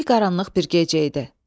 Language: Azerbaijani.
Zülqaranlıq bir gecə idi.